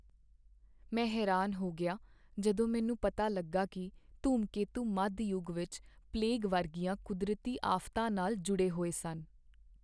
ਮੈਂ ਹੈਰਾਨ ਹੋ ਗਿਆ ਜਦੋਂ ਮੈਨੂੰ ਪਤਾ ਲੱਗਾ ਕੀ ਧੂਮਕੇਤੂ ਮੱਧ ਯੁੱਗ ਵਿਚ ਪਲੇਗ ਵਰਗੀਆਂ ਕੁਦਰਤੀ ਆਫ਼਼ਤਾਂ ਨਾਲ ਜੁੜੇ ਹੋਏ ਸਨ।